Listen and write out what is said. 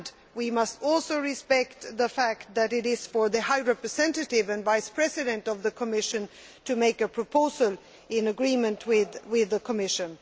We must also respect the fact that it is for the High Representative and Vice President of the Commission to make a proposal in agreement with the Commission.